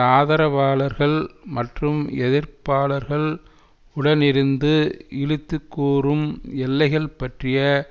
ஆதரவாளர்கள் மற்றும் எதிர்பாளர்கள் உடனிருந்து இழித்துக்கூறும் எல்லைகள் பற்றிய